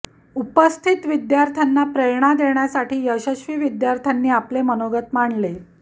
उपस्थित विद्यार्थ्यांना प्रेरणा देण्यासाठी यशस्वी विद्यार्थ्यांनी आपले मनोगत मांडले